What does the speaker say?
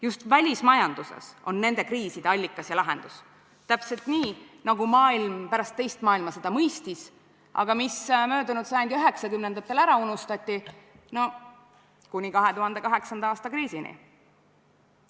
Just välismajanduses on nende kriiside allikas ja lahendus, täpselt nii, nagu maailm pärast teist maailmasõda mõistis, aga mis möödunud sajandi üheksakümnendatel ära unustati kuni 2008. aasta kriisini.